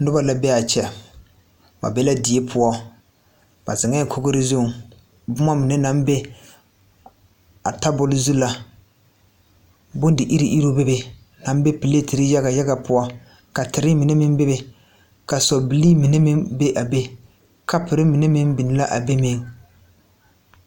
Nobɔ la bee aa kyɛ ba be ka die poɔ ba zeŋɛɛ kogre zuŋ bomma mibe baŋ be a tabok zu la bindi iriŋ iriŋ bebe aŋ be pleterre yaga yaga poɔ ka terre mine meŋ bebe ka sɔbilii mine meŋ be a be kapurre minw meŋ biŋ la a be meŋ.